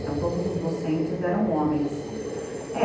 Então, todos os docentes eram homens.